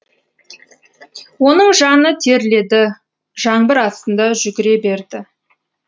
оның жаны терледі жаңбыр астында жүгіре берді